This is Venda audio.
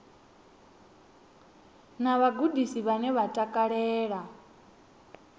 na vhagudisi vhane vha takalela